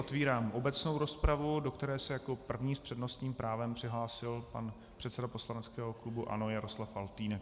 Otevírám obecnou rozpravu, do které se jako první s přednostním právem přihlásil pan předseda poslaneckého klubu ANO Jaroslav Faltýnek.